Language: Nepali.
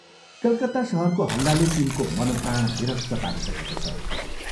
कलकत्ता शहरको हल्लाले तिनको मन प्राण विरक्त पारिसकेको छ।